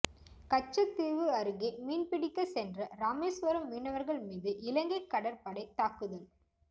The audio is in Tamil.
கச்சத்தீவு அருகே மீன்பிடிக்க சென்ற ராமேஸ்வரம் மீனவர்கள் மீது இலங்கை கடற்படை தாக்குதல்